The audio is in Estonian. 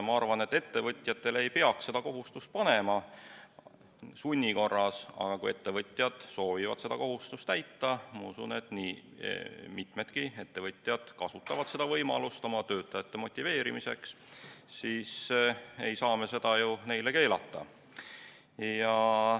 Ma arvan, et ettevõtjatele ei peaks seda kohustust sunni korras panema, aga kui ettevõtjad soovivad seda – ma usun, et nii mitugi ettevõtjat kasutab seda võimalust oma töötajate motiveerimiseks –, siis ei saa me seda ju neile keelata.